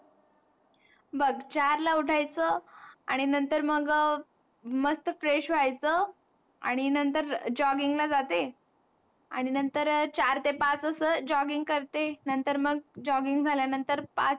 बघ चारला उठायेच, आणि नंतर मग मस्त Fresh व्हायेच, आणि नंतर jogging ला जाते. आणि नंतर चार ते पाच अस jogging करते नंतर मग jogging झाल्या नंतर पाच,